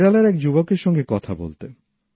কেরালার এক যুবকের সঙ্গে কথা বলতে